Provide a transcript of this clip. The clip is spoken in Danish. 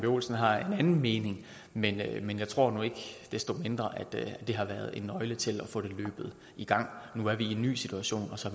olsen har en anden mening men men jeg tror nu ikke desto mindre at det har været nøglen til at få det løbet i gang nu er vi i en ny situation og så